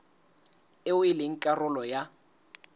eo e leng karolo ya